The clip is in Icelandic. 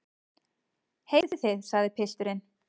Heyrið þið, sagði pilturinn.